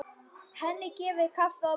Henni gefið kaffi og brauð.